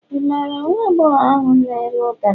ị mara nwagbogor ahu n'ere ụdara